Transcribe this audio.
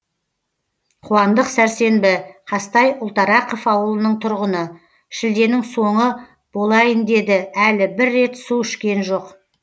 қуандық сәрсенбі қазтай ұлтарақов ауылының тұрғыны шілденің соңы болайын деді әлі бір рет су ішкен жоқ